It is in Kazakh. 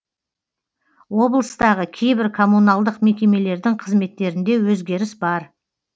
облыстағы кейбір коммуналдық мекемелердің қызметтерінде өзгеріс бар